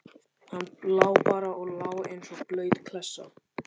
Hann lá bara og lá eins og blaut klessa.